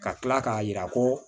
Ka tila k'a jira ko